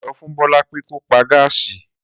Sọfún Bọlá pé kò pá gássí.